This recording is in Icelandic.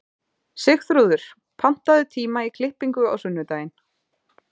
Sigþrúður, pantaðu tíma í klippingu á sunnudaginn.